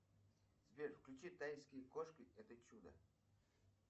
сбер включи тайские кошки это чудо